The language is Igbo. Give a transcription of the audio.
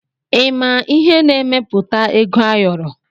Ịma ihe na-emepụta ego ayọrọ?